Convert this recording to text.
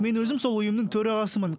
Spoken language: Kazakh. мен өзім сол ұйымның төрағасымын